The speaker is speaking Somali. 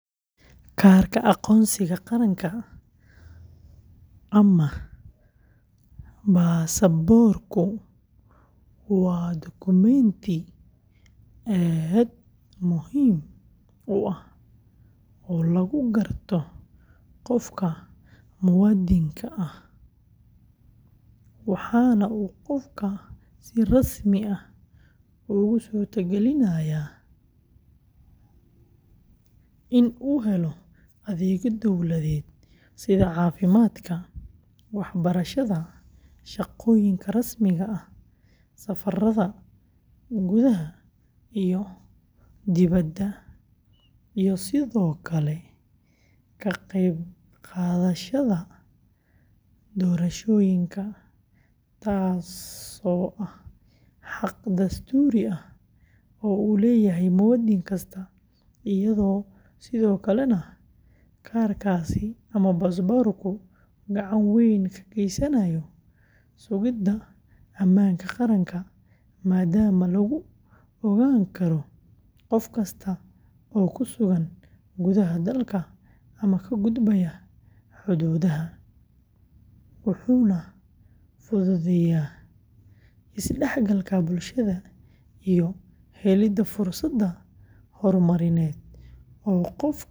Kaarka aqoonsiga qaranka ama baasaboorku waa dukumeenti aad muhiim u ah oo lagu garto qofka muwaadinka ah, waxaana uu qofka si rasmi ah ugu suurtagelinayaa in uu helo adeegyo dowladeed sida caafimaadka, waxbarashada, shaqooyinka rasmiga ah, safarada gudaha iyo dibadda, iyo sidoo kale ka qaybqaadashada doorashooyinka, taasoo ah xaq dastuuri ah oo uu leeyahay muwaadin kasta, iyadoo sidoo kalena kaarkaasi ama baasaboorku gacan weyn ka geysanayo sugidda ammaanka qaranka maadaama lagu ogaan karo qof kasta oo ku sugan gudaha dalka ama ka gudbaya xuduudaha, wuxuuna fududeeyaa isdhexgalka bulshada iyo helidda fursado horumarineed oo qofku ku gaari karo.